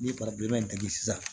N'i ye digi sisan